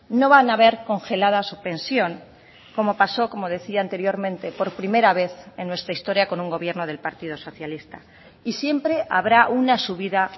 no van a ver congelada su pensión como pasó como decía anteriormente por primera vez en nuestra historia con un gobierno del partido socialista y siempre habrá una subida